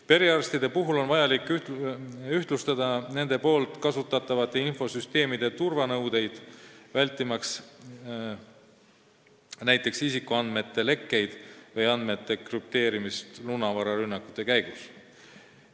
Perearstide puhul on vaja ühtlustada nende kasutatavate infosüsteemide turvanõudeid, vältimaks näiteks isikuandmete lekkeid või andmete krüpteerimist lunavararünnakute käigus.